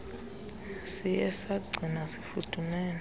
siye sagcinwa sifudumele